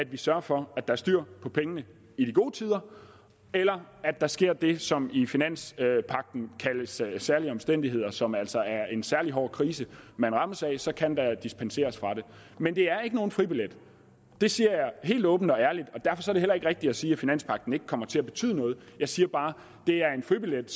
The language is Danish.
vi sørger for at der er styr på pengene i de gode tider eller at der sker det som i finanspagten kaldes særlige omstændigheder og som altså er en særlig hård krise man rammes af for så kan der dispenseres fra det men det er ikke nogen fribillet det siger jeg helt åbent og ærligt og det heller ikke rigtigt at sige at finanspagten ikke kommer til at betyde noget jeg siger bare at det er en fribillet